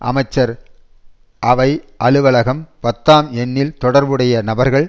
அமைச்சர் அவை அலுவலகம் பத்தாம் எண்ணில் தொடர்புடைய நபர்கள்